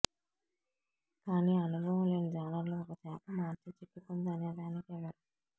కానీ అనుభవం లేని జాలర్లు ఒక చేప మార్చి చిక్కుకుంది అనేదానికి ఇవ్వరు